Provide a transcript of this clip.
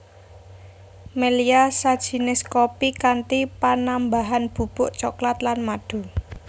Melya sajinis kopi kanthi panambahan bubuk cokelat lan madu